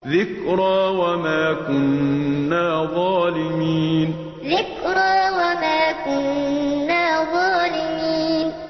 ذِكْرَىٰ وَمَا كُنَّا ظَالِمِينَ ذِكْرَىٰ وَمَا كُنَّا ظَالِمِينَ